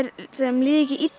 þeim líði ekki illa